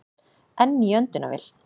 Enn í öndunarvél